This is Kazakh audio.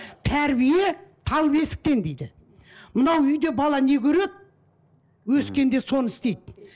тәрбие тал бесіктен дейді мынау үйде бала не көреді өскенде соны істейді